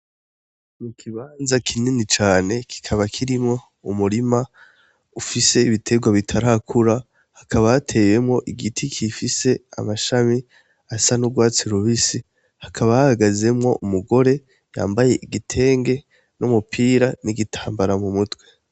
Ni ikibanza kinini cane kikaba kirimwo umurima ufise ibiterwa bitarakura. Hakaba hateyemwo igiti gifise amashami asa n'urwari urubisi, hakaba hahagazemwo umugore yambaye igitenge, n'umupira, n'igitambara mu mutwe.